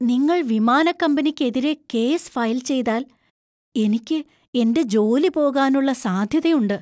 നിങ്ങൾ വിമാനക്കമ്പനിക്കെതിരെ case file ചെയ്താൽ, എനിക്ക് എന്‍റെ ജോലി പോകാനുള്ള സാധ്യതയുണ്ട്.